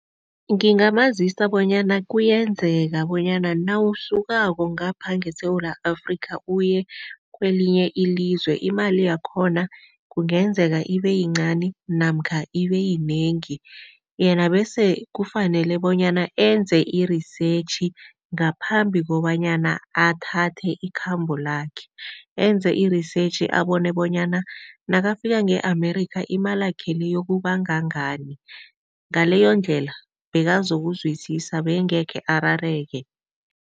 Ngingamazisa bonyana kuyenzeka bonyana nawusukako ngapha ngeSewula Afrika uye kwelinye ilizwe, imali yakhona kungenzeka ibeyincani namkha ibeyinengi. Yena bese kufanele bonyana enze i-research ngaphambi kobanyana athathe ikhambo lakhe. Enze i-research abone bonyana nakafika nge-America imalakhe le iyokuba ngangani. Ngaleyondlela bekazokuzwisisa bengekhe arareke.